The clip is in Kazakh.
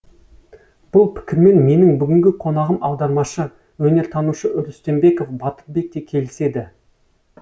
бұл пікірмен менің бүгінгі қонағым аудармашы өнертанушы үрістембеков батырбек те келіседі